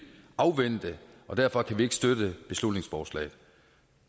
afvente og derfor kan vi ikke støtte beslutningsforslaget